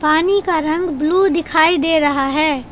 पानी का रंग ब्लू दिखाई दे रहा है।